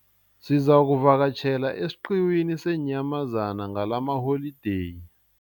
Sizakuvakatjhela esiqhiwini seenyamazana ngalamaholideyi.